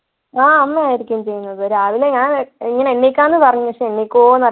ആഹ് അമ്മയായിരിക്കും ചെയുന്നത് രാവിലെ ഞാൻ എങ്ങനെ എണീക്കാമെന്ന് പറഞ്ഞ പക്ഷെ എണീക്കോന്നറി~